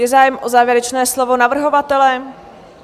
Je zájem o závěrečné slovo navrhovatele?